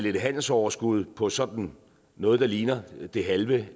et handelsoverskud på vel sådan noget der ligner det halve